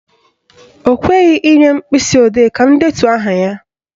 Ọ kweghị inye m mkpịsịodee ka m detuo aha ya.